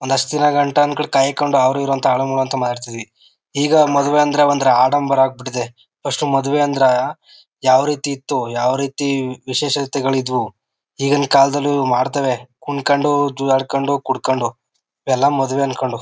ಒಂದ್ ಅಷ್ಟು ದಿನ ಗಂಟಾ ಕಾಯ್ಕೊಂಡು ಅವರಿವರು ಅಂತ ಹಾಳುಮೂಳು ಅಂತ ಮಾತಾಡ್ತಿದ್ವಿ. ಈಗ ಮದುವೆ ಅಂದ್ರೆ ಒಂತರ ಆಡಂಬರ ಆಗ್ಬಿಟ್ಟಿದೆ ಫಸ್ಟ್ ಮದುವೆ ಅಂದ್ರ ಯಾವರೀತಿ ಇತ್ತು ಯಾವರೀತಿ ವಿಶೇಷಗಳತೆದ್ವು. ಈಗಿನಕಾಲದಲಿ ಮಾಡ್ತವೆ ಕುಂಕೊಂಡು ಜುಜುಆಡ್ಕೊಂಡು ಕುಡ್ಕೊಂಡು ಎಲ್ಲ ಮದುವೆ ಅನ್ಕೊಂಡು--